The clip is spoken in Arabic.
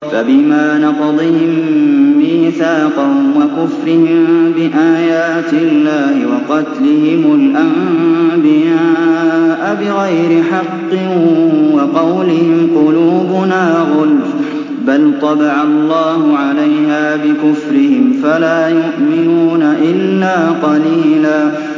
فَبِمَا نَقْضِهِم مِّيثَاقَهُمْ وَكُفْرِهِم بِآيَاتِ اللَّهِ وَقَتْلِهِمُ الْأَنبِيَاءَ بِغَيْرِ حَقٍّ وَقَوْلِهِمْ قُلُوبُنَا غُلْفٌ ۚ بَلْ طَبَعَ اللَّهُ عَلَيْهَا بِكُفْرِهِمْ فَلَا يُؤْمِنُونَ إِلَّا قَلِيلًا